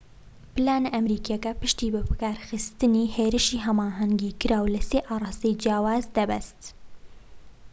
پلانە ئەمریکیەکە پشتی بە بەکارخستنی هێرشی هەماهەنگیکراو لە سێ ئاڕاستەی جیاوازەوە دەبەست